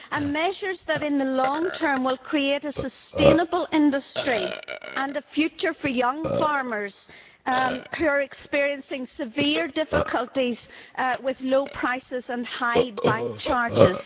and measures that in the long term will create a sustainable industry and a future for young farmers who are experiencing severe difficulties with low prices and high bank charges.